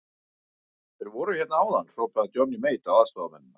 Þeir voru hérna áðan, hrópaði Johnny Mate á aðstoðarmennina.